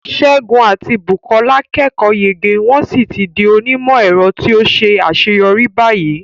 Segun àti Bukola kẹ́kọ̀ọ́ yege wọ́n sì ti di onímọ̀-ẹ̀rọ tí ó ṣe àṣeyọrí báyìí.